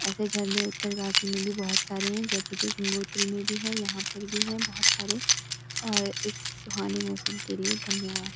ऐसे झरने उतरकाशी में भी बहुत सारे है जैसे कि गंगोत्री में भी है यहां पे भी है बहुत सारे और इस सुहाने मौसम के लिए धन्यवाद |